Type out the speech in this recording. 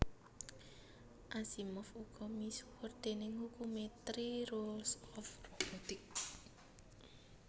Asimov uga misuwur déning hukumé Three Rules of Robotics